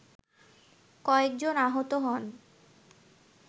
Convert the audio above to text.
কয়েকজন আহত হন